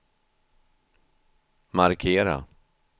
markera